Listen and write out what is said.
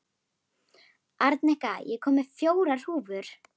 Arnika, ég kom með fjórar húfur!